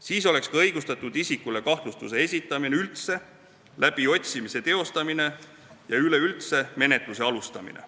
Siis oleks ka õigustatud isikule kahtlustus esitada, läbiotsimine teostada ja üleüldse menetlust alustada.